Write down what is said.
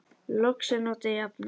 Loks er notuð jafnan